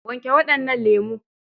wanke waɗannan lemo!